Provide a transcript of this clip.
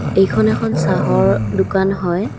এইখন এখন চাহৰ দোকান হয়।